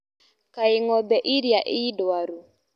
Kaĩ ngombe ĩrĩa ĩ ndwaru.